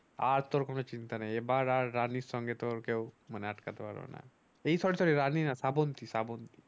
আর তোর কোনো চিন্তা নেই এবার আর রানীর সঙ্গে তোর কেউ মানে আটকাতে পারবেনা এই রানী না শ্রাবন্তী শ্রাবন্তী